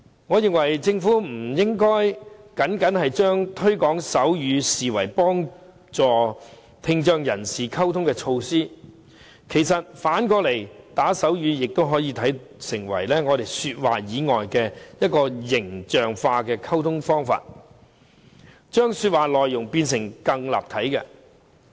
我認為政府不應將推廣手語僅僅視為幫助聽障人士溝通的措施，反過來，打手語也可以成為說話以外的形象化溝通方式，將說話內容變得更立體。